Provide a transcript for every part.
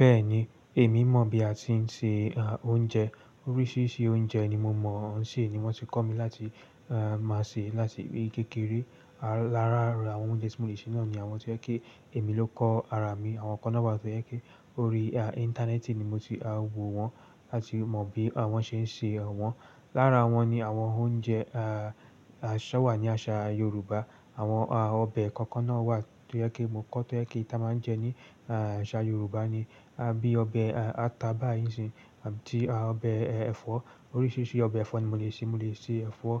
Bẹ́ẹ̀ni, èmi mọ̀ bí a ti ń ṣe oúnjẹ. Oríṣiríṣi oúnjẹ ni mo mọ̀ ṣe ni wọ́n ti kọ́ mi láti máa ṣe láti kékeré. Lára àwọn oúnjẹ tí mo lè ṣe náà ni àwọn tí ó jẹ́ pé èmi ló kọ́ ara mi, àwọn kan náà wà tó jẹ́ pé orí Íntánẹ́ẹ̀tì ni mo ti wo wọn láti mọ bí wọ́n ṣe ń ṣe wọn. Lára wọn ni àwọn oúnjẹ aṣọ wà ní àṣà Yorùbá. Àwọn ọbẹ̀ kọ̀ọ̀kan náà wà tó yẹ kí mo kọ́, tó yẹ kí a máa ń jẹ ní àṣà Yorùbá ni. Bíi ọbẹ̀ ata bá isin, àti ọbẹ̀ ẹ̀fọ́. Oríṣiríṣi ọbẹ̀ ẹ̀fọ́ ni mo lè ṣe. Mo lè ṣe ẹ̀fọ́,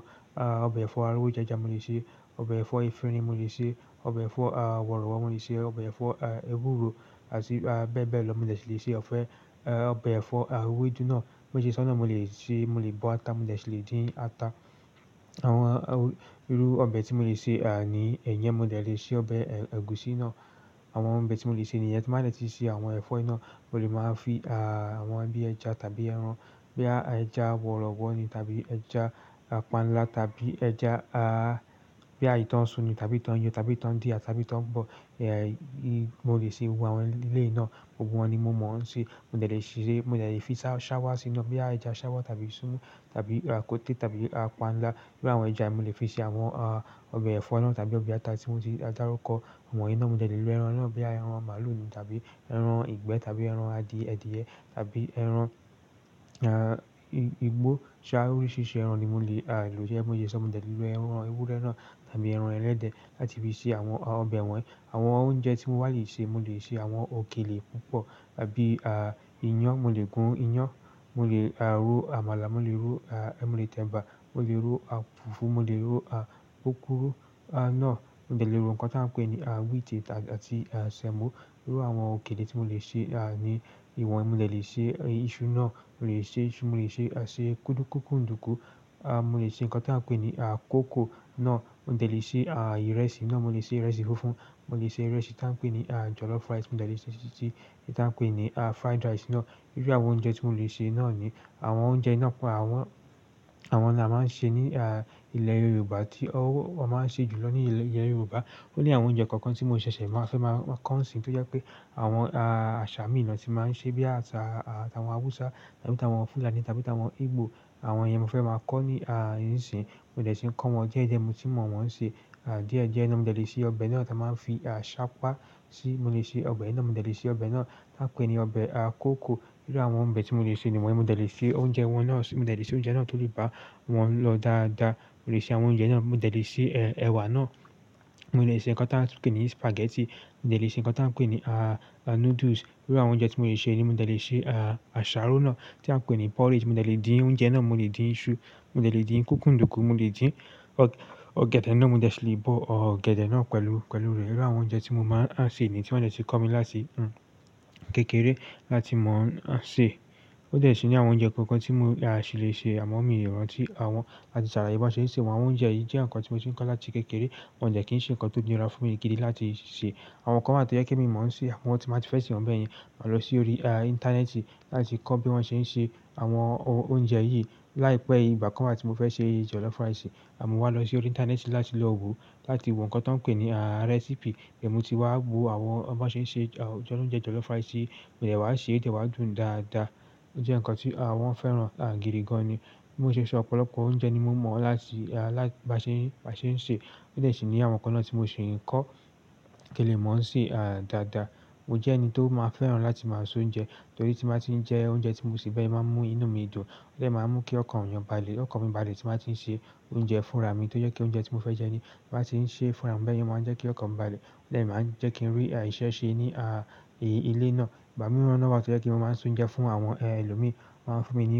ọbẹ̀ ẹ̀fọ́ arówójẹjà mo lè ṣe, ọbẹ̀ ẹ̀fọ́ ẹfinrin mo lè ṣe, ọbẹ̀ ẹ̀fọ́ àwòrọ̀wọ̀ mo lè ṣe, ọbẹ̀ ẹ̀fọ́ ewúro àti bẹ́ẹ̀ bẹ́ẹ̀ lọ. Mo dè ṣi lè ṣe ọbẹ̀ ẹ̀fọ́ ewédú náà, méjì sọ́nà mo lè ṣe, mo lè bọ ata, mo lè ṣe lè dín ata. Àwọn irú ọbẹ̀ tí mo lè ṣe ni ẹ̀yẹn, mo lè ṣe ọbẹ̀ ẹ̀gúsí náà. Àwọn ọbẹ̀ tí mo lè ṣe nìyẹn. Ti máa dẹ́ ti ṣe àwọn ẹ̀fọ́ náà, mo lè máa fi àwọn bí ẹja tàbí ẹran, bóyá ẹja wọ̀rọ̀wọ̀ ni tàbí ẹja panla tàbí ẹja a bí i tán sún ni tàbí tán yọ tàbí tán dìá tàbí tán bọ̀. Mo lè ṣe gbogbo àwọn èléyìí náà. Gbogbo wọn ni mo mọ̀ ṣe. Mo dẹ́ lè, mo lè fi ṣáwá sí i náà, bí ẹja ṣáwá tàbí súmù tàbí rakóté tàbí panla. Bí àwọn ẹja yìí, mo lè fi sí àwọn ọbẹ̀ ẹ̀fọ́ náà tàbí ọbẹ̀ ata tí mo ti dárúkọ̀. Wọ́n yìí náà, mo dé lè lò ẹran náà, bóyá ẹran màlúù ni tàbí ẹran ìgbẹ́ tàbí ẹran ẹ̀diyẹ tàbí ẹran igbó. Ṣá, oríṣiríṣi ẹran ni mo lè lò gẹ́gẹ́ bí mo ṣe sọ, mo dé lè lo ẹran ewúrẹ́ náà tàbí ẹran ẹlẹ́dẹ̀ láti fi ṣe àwọn ọbẹ̀ wọ̀nyí. Àwọn oúnjẹ tí mo wá lè ṣe, mo lè ṣe àwọn òkèlè púpọ̀ bí iyán, mo lè gún iyán, mo lè ro àmàlà, mo lè ro, mo lè tẹ́ bà, mo lè ro fùfú, mo lè ro púpúrú náà. Mo dé lè rò nǹkan tí a ń pè ní wíítì àti semo. Irú àwọn òkèlè tí mo lè ṣe ni ìwọ̀n, mo lè ṣe iṣu náà, mo lè ṣe iṣu, mo lè ṣe kúkúǹdùkú, mo lè ṣe nǹkan tí a ń pè ní kókò náà. Mo dé lè ṣe ìrẹsì náà, mo lè ṣe ìrẹsì fùfú, mo lè ṣe ìrẹsẹ́ tí a ń pè ní jọ̀lọ́fù rice, mo dé lè ṣe tí a ń pè ní fried rice náà. Irú àwọn oúnjẹ tí mo lè ṣe náà ni àwọn oúnjẹ náà pọ̀. Àwọn, àwọn náà a máa ń ṣe ní ilẹ̀ Yorùbá tí wọ́n máa ń ṣe jù lọ ní ilẹ̀ Yorùbá. Ó ní àwọn oúnjẹ kọ̀ọ̀kan tí mo ṣẹ̀ṣẹ̀ máa fẹ́ máa kọ́ ṣín tó jẹ́ pé àwọn àṣà mi náà tí máa ń ṣe bí i àṣà àwọn Hausa tàbí àwọn Fúlàní tàbí àwọn Igbo. Àwọn ìyẹn mo fẹ́ máa kọ́ ní isisiyi. Mo dé ṣi ń kọ́ wọn díẹ̀díẹ̀, mo ti mọ̀ wọ́n ṣe. Diẹ́diẹ́ náà mo dẹ́ lè ṣe ọbẹ̀ náà tí a máa ń fi ṣápá síi. Mo lè ṣe ọbẹ̀ náà, mo dẹ́ lè ṣe ọbẹ̀ náà tí a pè ní ọbẹ̀ kókò. Irú àwọn ọbẹ̀ tí mo lè ṣe ni wọ̀nyí. Mo dé lè ṣe oúnjẹ wọn náà, mo lè ṣe oúnjẹ náà tó lè bá wọn lọ dáadáa. Mo lè ṣe àwọn oúnjẹ náà, mo dé lè ṣe ẹ̀wà náà, mo dé lè ṣe nǹkan tí a ń pè ní spaghetti, mo dé lè ṣe nǹkan tí a ń pè ní noodles. Irú àwọn oúnjẹ tí mo lè ṣe ni mo dé lè ṣe àsáró náà tí a ń pè ní porridge. Mo lè dín oúnjẹ náà, mo lè dín iṣu, mo lè dín kúkúǹdùkú, mo lè dín ọ̀gẹ̀dẹ̀ náà, mo lè ṣe lè bọ̀ ọ̀gẹ̀dẹ̀ náà pẹ̀lú, pẹ̀lú rẹ̀. Irú àwọn oúnjẹ tí mo máa ń ṣe niyẹn tí wọ́n dé ti kọ́ mi láti ìgbà kékeré láti mọ̀ ṣe. Ó dè ṣe ní àwọn oúnjẹ kọ̀ọ̀kan tí mo ṣe lè ṣe àmo míì rantí àwọn làti sàlàyé bí wọ́n ṣe lè ṣe àwọn oúnjẹ yìí jẹ́ nǹkan tí mo ti ń kọ́ láti kékeré. Wọ́n dé kí ń ṣe nǹkan tó nira fún ikele láti ṣe. Àwọn kan wáà tó yẹ pe mi mọ̀ se, àwọn tí màá ti fẹ́ ṣe wọn bẹ́ẹ̀ yẹn, máa lọ sí orí ìntanẹ́ẹ̀tì láti kọ́ bí wọ́n ṣe ń ṣe àwọn oúnjẹ yìí. Láìpẹ́ yìí, ìgbà kan láti mo fẹ́ ṣe jọ̀lọ́fù rice, àmọ́ wá lọ sí orí Íntánẹ́ẹ̀tì láti lọ wo, láti wo nǹkan tí wọ́n pè ní recipe. Ẹ̀mu ti wá wo àwọn bí wọ́n ṣe ń ṣe oúnjẹ jọ̀lọ́fù rice yìí, mo dé wá ṣe, ó dé wá dùn dáadáa. Ó jẹ́ nǹkan tí wọ́n fẹ́ràn gidi gan-an ni. Bí mo ṣe ṣe, ọ̀pọ̀lọpọ̀ oúnjẹ ni mo mọ̀ láti bá ṣe, bá ṣe ń ṣe. Ó dé ṣe ní àwọn kan náà tí mo sì ń kọ́, kí n lè mọ̀ ń ṣe dáadáa. Mo jẹ́ ẹni tó máa ń fẹ́ràn láti máa ṣe oúnjẹ torí tí màá ti ń jẹ oúnjẹ tí mo ṣe bẹ́ẹ̀ yẹn, o máa ń mú inú mi dùn. Ó dè máa ń mú kí ọkàn èèyàn balẹ̀, ọkàn mi balẹ̀ tí màá ti ń ṣe oúnjẹ fúnra mi tó jẹ́ pé oúnjẹ tí mo fẹ́ jẹ ni, màá ti ń ṣe fúnra mi bẹ́ẹ̀ yẹn, ó máa ń jẹ́ kí ọkàn mi balẹ̀. Ó dè máa ń jẹ́ kí ń rí ìṣẹ́ ṣe ní ilé náà. Ìgbá mirọ́n náà wà tó jẹ́ kí wọ́n máa ń so oúnjẹ fún àwọn ẹlòmíràn. Wọ́n máa ń fún mi ní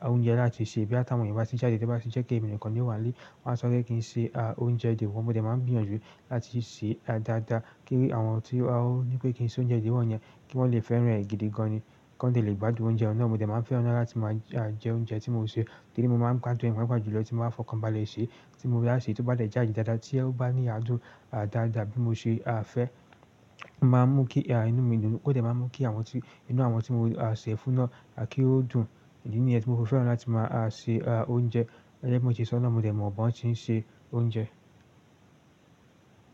oúnjẹ láti ṣe bí àti àwọn ìbá ti ń jáde, bí wọ́n bá ti ń jẹ́ kí èmi nìkan ni wà nílé, wọ́n á sọ kí ń ṣe oúnjẹ diwọ̀n. Mo dè máa ń gbìyànjú láti ṣe dáadáa kí àwọn tí wọ́n ní pé kí ń ṣe oúnjẹ diwọ̀n yẹn kí wọ́n lè fẹ́ràn rẹ̀ gidi gan-an. Kí wọ́n lè gbádùn oúnjẹ náà. Mo dè máa ń fẹ́ràn náà láti máa jẹ oúnjẹ tí mo sè torí mo máa ń gbádùn, mo paapaa jù lọ tí màá fọkàn balẹ̀ ṣe tí mo bá ṣe tó bá lè jájù dáadáa tí ẹ́ bá ní adùn dáadáa bí mo ṣe fẹ́ máa ń mú kí inú mi dùn. Ó dè máa ń mú kí àwọn tí inú àwọn tí mo ṣẹ̀ fún náà kí ó dùn nìyẹn ni ẹ́ tí mo fẹ́ràn láti máa ṣe oúnjẹ. Jẹ́je bii mo sẹ́ sọ́nà, mo lè mọ̀ bó ẹ ń ṣe oúnjẹ.